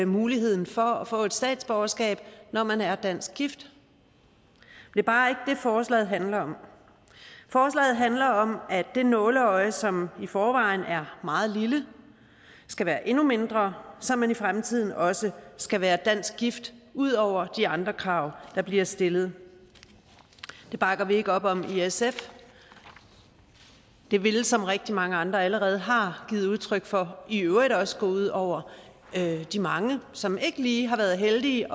muligheden for at få et statsborgerskab når man er dansk gift det er bare ikke det forslaget handler om forslaget handler om at det nåleøje som i forvejen er meget lille skal være endnu mindre så man i fremtiden også skal være dansk gift ud over at de andre krav der bliver stillet det bakker vi ikke op om i sf det ville som rigtig mange andre allerede har givet udtryk for i øvrigt også gå ud over de mange som ikke lige har været heldige